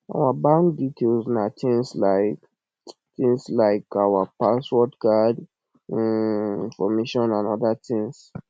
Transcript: our bank details na things like things like our password card um information and oda details